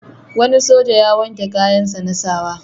Wani soja ya wanke kayansa na sa wa.